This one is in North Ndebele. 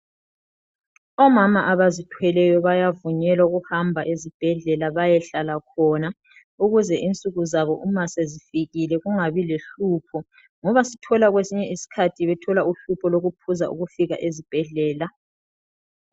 Omama abazithweleyo bayavunyelwa ukuhamba ezibhedlela bayohlala khona ukuze insuku zabo uma sezifikile kungabi lohlupho ngoba sithola kwesinye isikhathi bethola uhlupho lokuphuza ukufika ezibhedlela.